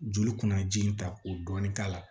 Joli kunnaji in ta k'o dɔɔni k'a la